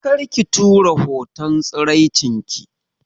Kar ki tura hoton tsiraicinki